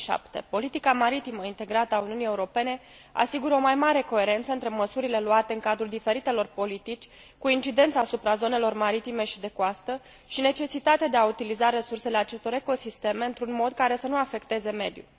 2007. Politica maritimă integrată a Uniunii Europene asigură o mai mare coerență între măsurile luate în cadrul diferitelor politici, cu incidență asupra zonelor maritime și de coastă și necesitatea de a utiliza resursele acestor ecosisteme într un mod care să nu afecteze mediul.